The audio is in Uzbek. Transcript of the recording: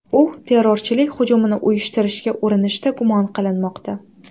U terrorchilik hujumini uyushtirishga urinishda gumon qilinmoqda.